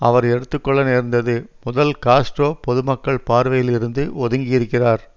அவர் எடுத்து கொள்ள நேர்ந்தது முதல் காஸ்ட்ரோ பொதுமக்கள் பார்வையில் இருந்து ஒதுங்கியிருக்கிறார்